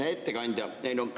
Hea ettekandja!